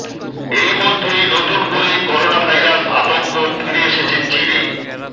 এই মধ্যেই নতুন করে করোনাভাইরাস আতঙ্ক ফিরে এসেছে চিনে